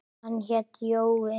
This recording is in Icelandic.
Hann hét Jói.